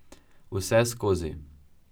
Vseskozi.